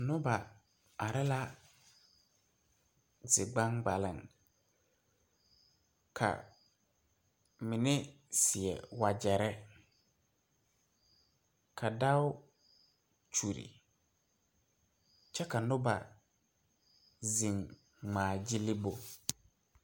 Noba are la zi gbaŋgbaleŋ ka mine seɛ wagyɛrre ka dao kyulle kyɛ ka noba zeŋ ngmaa gyille bo.